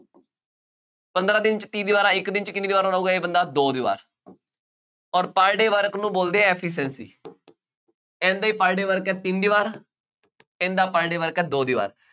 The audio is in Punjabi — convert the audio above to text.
ਪੰਦਰਾਂ ਦਿਨ ਚ ਤੀਹ ਦੀਵਾਰਾਂ, ਇੱਕ ਦਿਨ ਚ ਕਿੰਨੀਆਂ ਦੀਵਾਰਾਂ ਬਣਾਊਗਾ ਇਹ ਬੰਦਾ, ਦੋ ਦੀਵਾਰ, ਅੋਰ per day work ਨੂੰ ਬੋਲਦੇ ਆ efficiency ਇਹਦਾ ਹੀ per day work ਹੈ ਤਿੰਨ ਦੀਵਾਰ, ਇਹਦਾ per day work ਹੈ ਦੋ ਦੀਵਾਰ,